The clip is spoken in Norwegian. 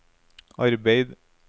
arbeid